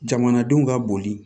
Jamanadenw ka boli